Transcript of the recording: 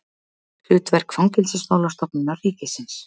Hlutverk Fangelsismálastofnunar ríkisins.